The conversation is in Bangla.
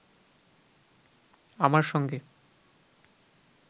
আমার সঙ্গে